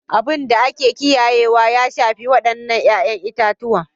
Abin da ake kiyayewa ya shafi waɗannan 'ya'yan itatuwa